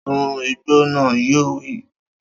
Sun igbó naa! Yóò wí.